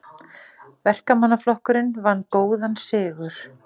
Verkamannaflokkurinn vann góðan sigur